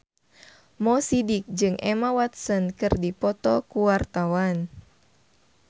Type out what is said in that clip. Mo Sidik jeung Emma Watson keur dipoto ku wartawan